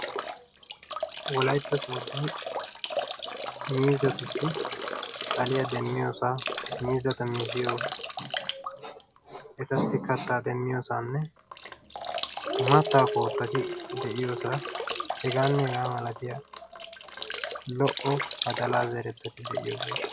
Wolaytta sooddon miizzatussi xaliya demmiyosaa miizzata miziyo etassi kattaa demmiyosaanne mattaa koottati de'iyosaa hegaanne hegaa milatiya lo''o badalaa zerettati de'ii